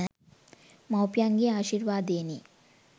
මව්පියන්ගේ ආශිර්වාදයෙනි.